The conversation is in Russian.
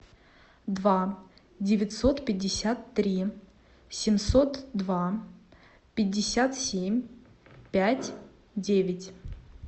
два девятьсот пятьдесят три семьсот два пятьдесят семь пять девять